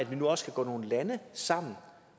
vi nu også kan gå nogle lande sammen